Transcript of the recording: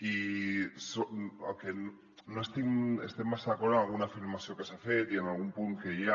i no estic massa d’acord amb una afirmació que s’ha fet i en algun punt que hi ha